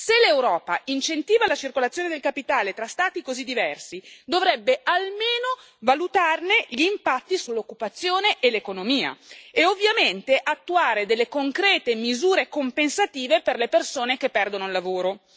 Se l'Europa incentiva la circolazione del capitale tra Stati così diversi, dovrebbe almeno valutarne gli impatti sull'occupazione e sull'economia, e ovviamente attuare concrete misure compensative per le persone che perdono il lavoro.